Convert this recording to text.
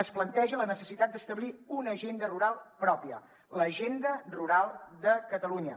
es planteja la necessitat d’establir una agenda rural pròpia l’agenda rural de catalunya